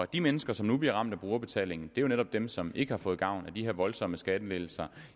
de mennesker som nu bliver ramt af brugerbetaling er jo netop dem som ikke har fået gavn af de her voldsomme skattelettelser